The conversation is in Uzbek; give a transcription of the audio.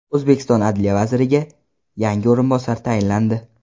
O‘zbekiston Adliya vaziriga yangi o‘rinbosar tayinlandi.